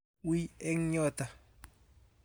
Wiy eng yoto